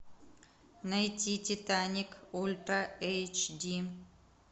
найти титаник ультра эйч ди